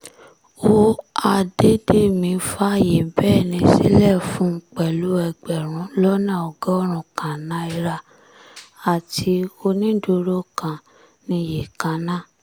ó àdédémí fààyè bẹ́ẹ́lí sílẹ̀ fún un pẹ̀lú ẹgbẹ̀rún lọ́nà ọgọ́rùn-ún kan náírà àti onídùúró kan níye kan náà